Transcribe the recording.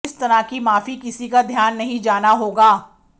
इस तरह की माफी किसी का ध्यान नहीं जाना होगा